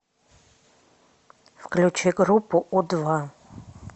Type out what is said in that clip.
включи группу у два